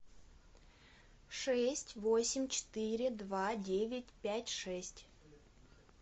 шесть восемь четыре два девять пять шесть